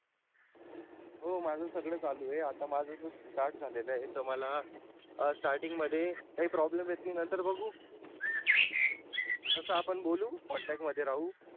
हो माझ सगळ चालू आहे आता माझ start झालेल आहे तर मला starting मध्ये काही problem येतील नंतर बघू तस आपण बोलू contact मध्ये राहू